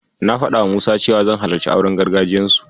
Na faɗawa Musa cewa zan halarci auren gargajiyarsu.